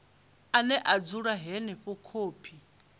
ane a dzula henefho khophi